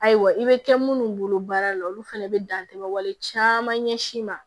Ayiwa i bɛ kɛ munnu bolo baara la olu fɛnɛ bɛ dan tɛmɛ wale caman ɲɛsin ma